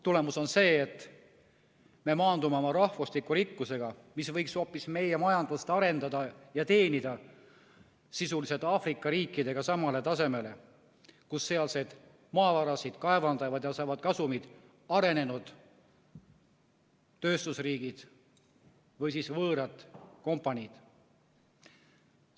Tulemus on see, et me maandume oma rahvusliku rikkusega, mis võiks hoopis meie majandust arendada ja teenida, sisuliselt Aafrika riikidega samale tasemele – sealseid maavarasid kaevandavad ja neist saavad kasumit arenenud tööstusriigid või võõrad kompaniid.